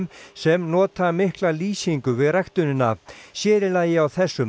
sem nota mikla lýsingu við ræktunina sér í lagi á þessum